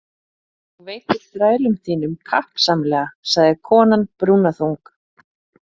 Þú veitir þrælum þínum kappsamlega, sagði konan brúnaþung.